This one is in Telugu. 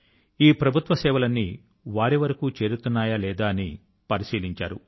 ఈ ప్రభుత్వ సేవలన్నీ వారి వరకు చేరుతున్నాయా లేదా అని పరిశీలించారు